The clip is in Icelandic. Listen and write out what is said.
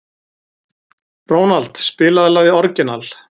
Ronald, spilaðu lagið „Orginal“.